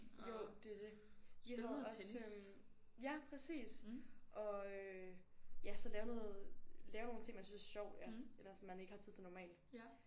Jo det er det vi havde også øh ja præcis og øh ja så lave noget lave nogle ting man synes er sjovt ja eller som man ikke har tid til normalt